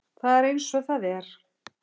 Það er eins og það er